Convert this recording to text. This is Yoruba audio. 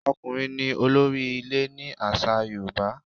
Ọkùnrin ní olórí ilé ni àṣà Yorùbá.